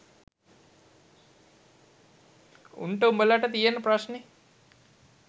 උන්ට උඹලට තියෙන ප්‍රශ්නේ